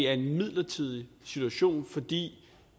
er en midlertidig situation fordi